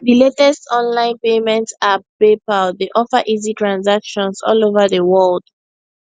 di latest online payment app paypal dey offer easy transactions all over di world